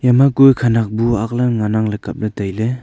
ema kue khanak bu ang lan ley ngan ang kap ley tai ley.